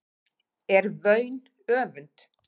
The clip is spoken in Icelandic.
er vaun öfund